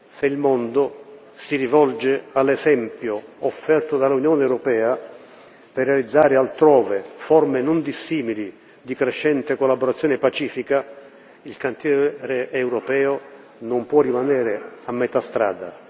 Se il mondo si rivolge all'esempio offerto dall'Unione europea per realizzare altrove forme non dissimili di crescente collaborazione pacifica, il cantiere europeo non può rimanere a metà strada.